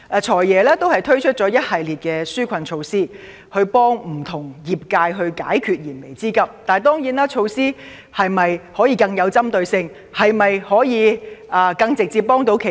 "財爺"已推出了一系列紓困措施去協助不同界別解決燃眉之急，但當然，措施是否應該更具針對性，更能直接幫助企業？